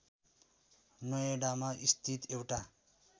नोएडामा स्थित एउटा